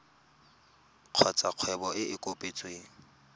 kgotsa kgwebo e e kopetsweng